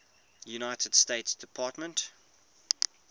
united states department